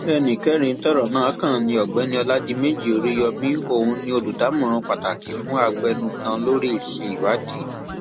ẹnì kẹrin tọrọ náà kàn ní ọgbẹni ọládiméjì oríyọmi òun ni olùdámọràn pàtàkì fún abẹnugan lórí iṣẹ ìwádìí